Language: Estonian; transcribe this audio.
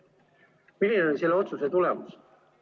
Milline on selle otsuse tulemus?